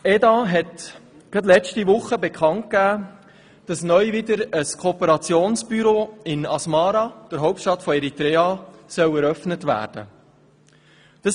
Gerade letzte Woche gab das Eidgenössische Departement für auswärtige Angelegenheiten (EDA) bekannt, dass neu wieder ein Kooperationsbüro in Asmara, der Hauptstadt Eritreas, eröffnet werden soll.